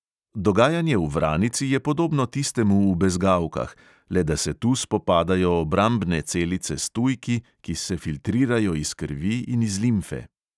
Dogajanje v vranici je podobno tistemu v bezgavkah, le da se tu spopadajo obrambne celice s tujki, ki se filtrirajo iz krvi in iz limfe.